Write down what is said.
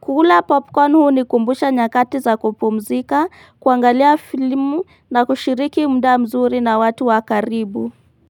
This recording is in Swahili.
Kula popcorn huu unikumbusha nyakati za kupumzika, kuangalia filmu na kushiriki mda mzuri na watu wakaribu.